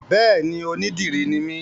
Béèni, onídìrí ni mí